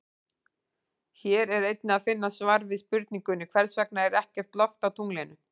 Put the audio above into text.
Hér er einnig að finna svar við spurningunni Hvers vegna er ekkert loft á tunglinu?